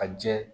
A jɛ